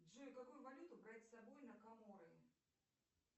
джой какую валюту брать с собой на коморы